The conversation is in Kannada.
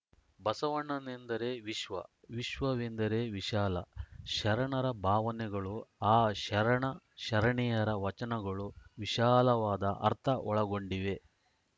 ಬಸವಣ್ಣನೆಂದರೆ ವಿಶ್ವ ವಿಶ್ವವೆಂದರೆ ವಿಶಾಲ ಶರಣರ ಭಾವನೆಗಳು ಆ ಶರಣಶರಣೆಯರ ವಚನಗಳೂ ವಿಶಾಲವಾದ ಅರ್ಥ ಒಳಗೊಂಡಿವೆ